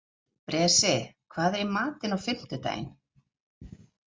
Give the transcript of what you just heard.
Bresi, hvað er í matinn á fimmtudaginn?